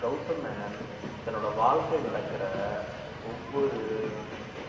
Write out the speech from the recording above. கௌதம் மேனன் தன்னோட வாழ்க்கையில நடக்கிற ஒவ்வொரு